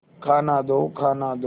खाना दो खाना दो